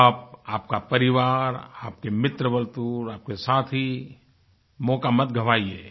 आप आपका परिवार आपके मित्रवार्तूरआपके साथी मौका मत गंवाइये